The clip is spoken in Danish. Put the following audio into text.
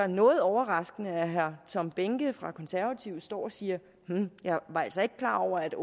noget overraskende at herre tom behnke fra de konservative står og siger hm jeg var altså ikke klar over at